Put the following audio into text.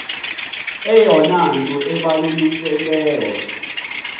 eyona nto ibalulekileyo